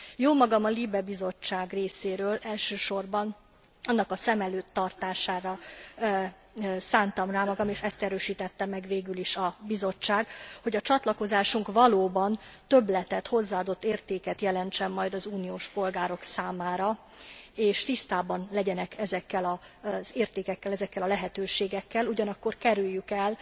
Jómagam a LIBE bizottság részéről elsősorban annak a szem előtt tartására szántam rá magam és ezt erősítette meg végül is a bizottság hogy a csatlakozásunk valóban többletet, hozzáadott értéket jelentsen majd az uniós polgárok számára, és tisztában legyenek ezekkel az értékekkel, ezekkel a lehetőségekkel, ugyanakkor kerüljük el